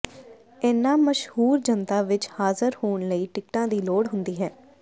ਇਨ੍ਹਾਂ ਮਸ਼ਹੂਰ ਜਨਤਾ ਵਿੱਚ ਹਾਜ਼ਰ ਹੋਣ ਲਈ ਟਿਕਟਾਂ ਦੀ ਲੋੜ ਹੁੰਦੀ ਹੈ